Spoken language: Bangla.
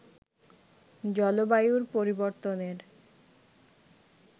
জলবায়ুর পরিবর্তনের